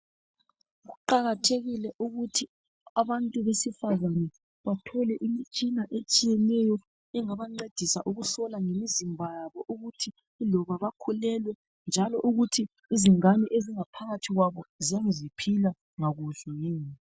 Kuqakathekile ukuthi abantu besifazane bathole imitshina etshiyeneyo engabancedisa ukuhlola ngemizimba yabo ukuthi yiloba bakhulelwe njalo ukuthi izingane ezingaphakathi kwabo ziyabe ziphila ngakuhle yini.